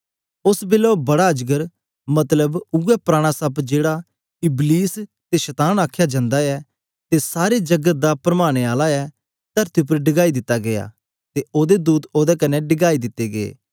ओस बेलै ओ बड़ा अजगर मतलब उवै पराना सप्प जेड़ा इबलीस ते शतान आखया जांदा ऐ ते सारे जगत दा परमाने आला ऐ तरती उपर डिगाई दिता गीया ते ओदे दूत ओदे कन्ने डिगाई दिते गै